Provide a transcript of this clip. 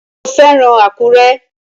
Ṣé o fẹ́ràn Àkúrẹ́?